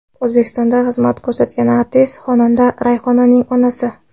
O‘zbekistonda xizmat ko‘rsatgan artist, xonanda Rayhonning onasi.